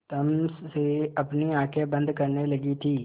तम से अपनी आँखें बंद करने लगी थी